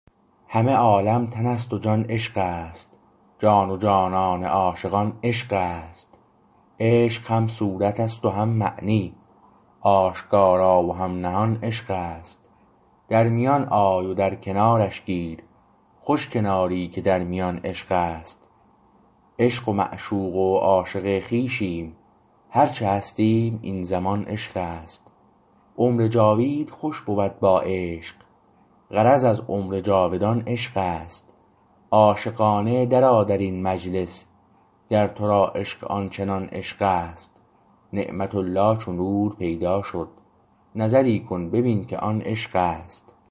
همه عالم تن است و جان عشق است جان و جانان عاشقان عشق است عشق هم صورتست و هم معنی آشکارا و هم نهان عشق است در میان آی و در کنارش گیر خوش کناری که در میان عشقست عشق و معشوق و عاشق خویشیم هرچه هستیم این زمان عشق است عمر جاوید خوش بود با عشق غرض از عمر جاودان عشق است عاشقانه در آ درین مجلس گر تو را عشق آن چنان عشق است نعمت الله چو نور پیدا شد نظری کن ببین که آن عشق است